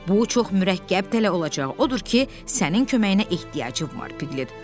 Bu çox mürəkkəb tələ olacaq, odur ki, sənin köməyinə ehtiyacım var, Piqlet.